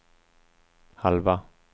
halva